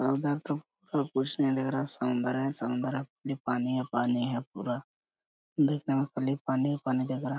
उधर तो कुछ नहीं दिख रहा समुद्र है समुद्र में पानी है पानी है पूरा दिखने मे खाली पानी ही पानी दिख रहा।